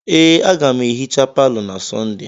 Ee, aga m ehicha palọ na Sọnde.